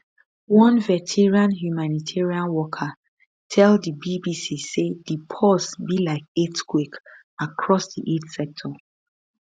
one veteran humanitarian worker tell di bbc say di pause be like earthquake across di aid sector